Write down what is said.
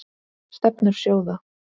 Stefnur sjóða